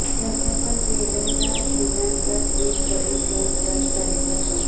તેમણે પણ દેવેનના નિધન પર ટ્વીટ કરી શોક વ્યક્ત કર્યો હતો